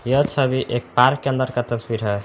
यह छवि एक पार्क के अंदर का तस्वीर है।